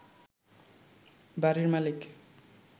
বাড়ির মালিক